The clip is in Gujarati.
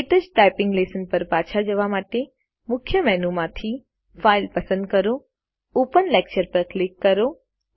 ક્ટચ ટાઈપીંગ લેશન પર પાછા જવા માટે મુખ્ય મેનુ માંથી ફાઇલ પસંદ કરો ઓપન લેક્ચર પર ક્લિક કરો